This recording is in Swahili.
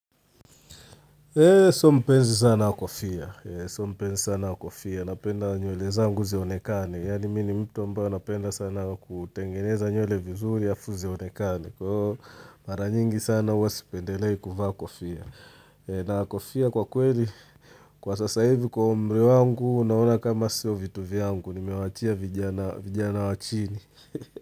Sio mpenzi sana wa kofia, napenda nywele zangu zionekane. Yaani mimi ni mtu ambaye napenda sana kutengeneza nywele vizuri alafu zionekane. Kwa mara nyingi sana huwa sipendelei kuvaa kofia. Na kofia kwa kweli, kwa sasa hivi kwa umri wangu, naona kama sio vitu vyangu, nimewachia vijana wa chini.